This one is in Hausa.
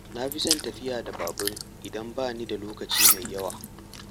Na fi son tafiya da babur idan bani da lokaci mai yawa.